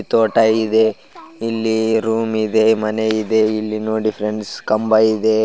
ತೋಟ ಇದೆ ಇಲ್ಲಿ ರೂಮ್ ಇದೆ ಮನೆ ಇದೆ ಇಲ್ಲಿ ನೋಡಿ ಫ್ರೆಂಡ್ಸ್ ಕಂಬ ಇದೆ .